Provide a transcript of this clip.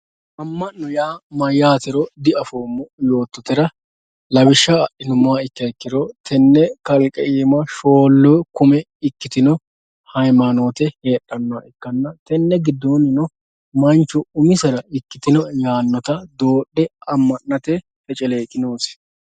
Ama'note yaa mayyatero diafoommo yoottotera lawishshaho adhinuummoha ikkiro tene kalqe iima shoolu kumi ikkitino hamayinote heedhanoha ikkanna tene giddonino manchu umisitta ikkitinotta dodhe adhate feceleqi noosi.